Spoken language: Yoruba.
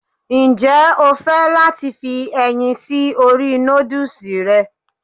Ǹjẹ́ o fẹ́ láti fi ẹyin sí orí nódùsì rẹ?